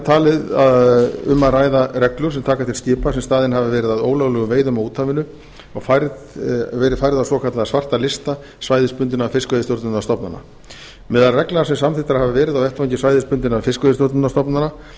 talið um að ræða reglur sem taka til skipa sem staðin hafa verið að ólöglegum veiðum á úthafinu og verið færð á svokallaða svarta lista svæðisbundinna fiskveiðistjórnarstofnana meðal reglna sem samþykktar hafa verið á vettvangi svæðisbundinna fiskveiðistjórnarstofnana